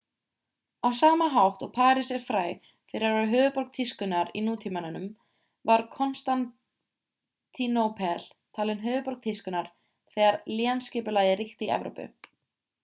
á sama hátt og parís er fræg fyrir að vera höfuðborg tískunnar í nútímanum var konstantínópel talin höfuðborg tískunnar þegar lénsskipulagið ríkti í evrópu